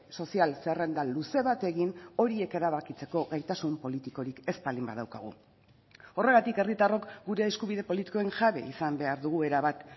sozial zerrenda luze bat egin horiek erabakitzeko gaitasun politikorik ez baldin badaukagu horregatik herritarrok gure eskubide politikoen jabe izan behar dugu erabat